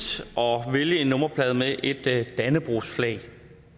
at vælge en nummerplade med et dannebrogsflag